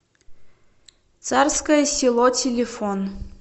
царское село телефон